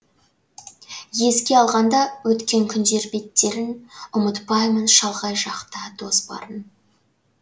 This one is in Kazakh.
еске алғанда өткен күндер беттерін ұмытпаймын шалғай жақта дос барын